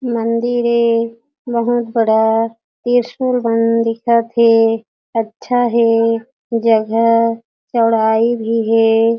मंदिर ए बहोत बड़ा त्रिसूल मन दिखत हे अच्छा हे जगह चौड़ाई भी हे।